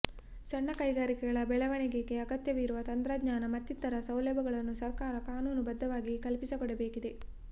ಸಣ್ಣ ಕೈಗಾರಿಕೆಗಳ ಬೆಳವಣಿಗೆಗೆ ಅಗತ್ಯವಿರುವ ತಂತ್ರಜ್ಞಾನ ಮತ್ತಿತರ ಸೌಲಭ್ಯಗಳನ್ನು ಸರ್ಕಾರ ಕಾನೂನು ಬದ್ಧವಾಗಿ ಕಲ್ಪಿಸಿಕೊಡಬೇಕಿದೆ